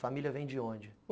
Família vem de onde?